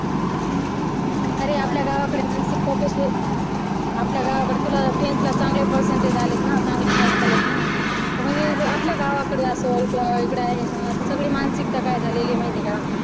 अरे आपल्या गावाकडे मानसिकता कशी आहे आपल्या गावाकडे तुला tenth ला चांगले percentage आलेत ना चांगले marks आलेत ना. तर मग आपल्या गावाकडे असल सगळी मानसिकता काय झालेल्या आहे माहिती का